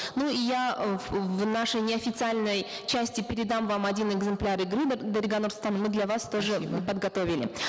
ну и я в нашей неофициальной части передам вам один экземпляр игры дарига нурсултановна мы для вас тоже подготовили